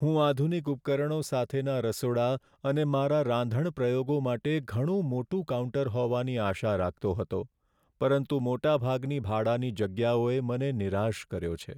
હું આધુનિક ઉપકરણો સાથેના રસોડા અને મારા રાંધણ પ્રયોગો માટે ઘણું મોટું કાઉન્ટર હોવાની આશા રાખતો હતો, પરંતુ મોટાભાગની ભાડાની જગ્યાઓએ મને નિરાશ કર્યો છે.